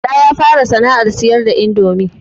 Bala ya fara sana'ar siyar da indomi